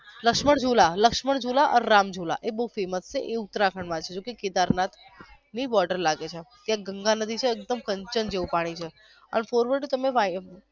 લક્ષ્મણઝૂલા લક્ષ્મણઝૂલા રામઝૂલા એ બવ famous છે એ ઉત્તરાખંડ માં છે કેદારનાથ જેમ ગંગા નદી છે જેમ કંચન જેવું પાણી છે